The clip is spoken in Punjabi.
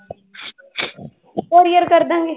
Courier ਕਰ ਦੇਵਾਂਗੇ